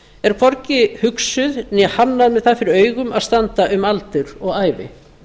er hvorki hugsað né hannað með það fyrir augum að standa um aldur og ævi